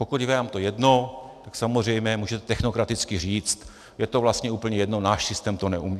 Pokud je vám to jedno, tak samozřejmě můžete technokraticky říct - je to vlastně úplně jedno, náš systém to neumožní.